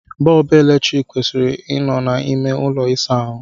Bọọbụ eletrik kwesịrị ị nọ na ime ụlọ ịsa ahụ.